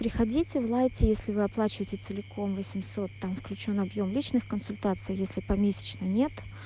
приходите в лайте если вы оплачиваете целиком восемьсот там включён объём личных консультации если помесячно нет